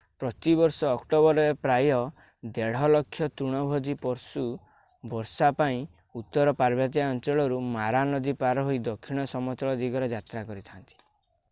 ପ୍ରତିବର୍ଷ ଅକ୍ଟୋବରରେ ପ୍ରାୟ 1.5 ଲକ୍ଷ ତୃଣଭୋଜୀ ପଶୁ ବର୍ଷା ପାଇଁ ଉତ୍ତର ପାର୍ବତ୍ୟାଞ୍ଚଳରୁ ମାରା ନଦୀ ପାର ହୋଇ ଦକ୍ଷିଣ ସମତଳ ଦିଗରେ ଯାତ୍ରା କରିଥା'ନ୍ତି